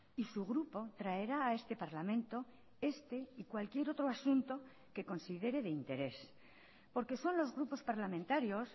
y su grupo traerá a este parlamento este y cualquier otro asunto que considere de interés porque son los grupos parlamentarios